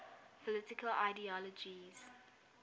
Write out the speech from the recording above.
political ideologies